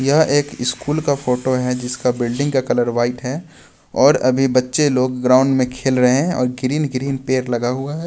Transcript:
यह एक स्कूल का फोटो है जिसका बिल्डिंग का कलर वाइट है और अभी बच्चे लोग ग्राउंड में खेल रहे हैं और ग्रीन ग्रीन पेयर लगा हुआ है.